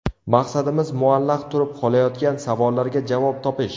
Maqsadimiz muallaq turib qolayotgan savollarga javob topish.